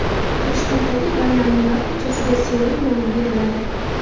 Toshkentdagi Baynalmilal ko‘chasiga Seul nomi beriladi.